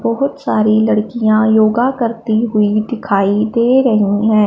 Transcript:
बहोत सारी लड़कियां योगा करती हुई दिखाई दे रही हैं।